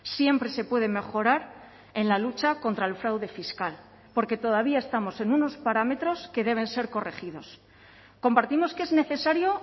siempre se puede mejorar en la lucha contra el fraude fiscal porque todavía estamos en unos parámetros que deben ser corregidos compartimos que es necesario